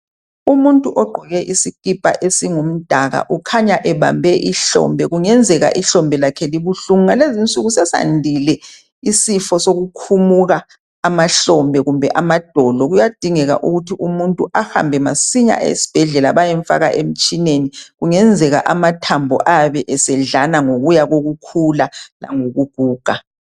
Umuntu ogqoke isikipa esingumdaka ukhanya ebambe omunye ihlombe kungenzeka inhlombe lakhe libuhlungu. Ngalezi insuku sesandile isifo sokukhumuka amhlombe kumbe amadolo kuyadingeka ukuthi umuntu ahambe masinya esibhedlela bayemfaka emtshineni kungenzeka amathambo ayabe esedlana ngokuya kokukhula langokuguga.